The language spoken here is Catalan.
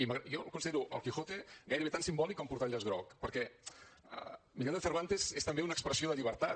jo considero el quijote gairebé tan simbòlic com portar el llaç groc perquè el millor de cervantes és també una expressió de llibertat